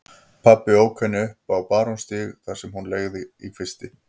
Pabbi ók henni upp á Barónsstíg þar sem hún leigði í kvisti.